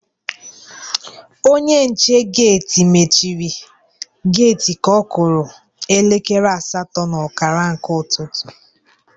Onye nche geti mechiri geti ka ọ kụrụ elekere asatọ na ọkara nke ụtụtụ.